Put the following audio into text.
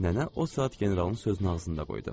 Nənə o saat generalın sözünü ağzında qoydu.